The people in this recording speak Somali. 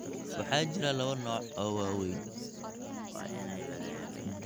Waxaa jira laba nooc oo waaweyn: B-lymphocyteska (unugyada B) iyo T lymphocyteska (unugyada T).